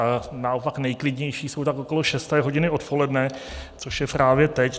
A naopak nejklidnější jsou tak okolo šesté hodiny odpoledne, což je právě teď.